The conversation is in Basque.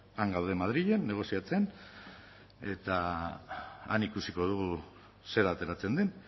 han gaude madrilen negoziatzen eta han ikusiko dugu zer ateratzen den